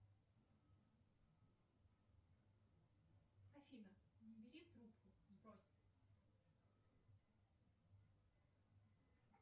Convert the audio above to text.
афина не бери трубку сбрось